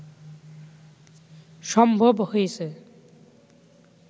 সম্ভব হয়েছে